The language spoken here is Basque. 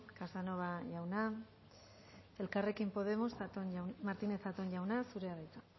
casanova jauna elkarrekin podemos martínez zatón jauna zurea da hitza